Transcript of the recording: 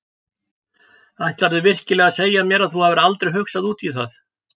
Ætlarðu virkilega að segja mér að þú hafir aldrei hugsað út í það?